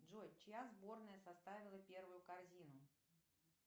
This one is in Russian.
джой чья сборная составила первую корзину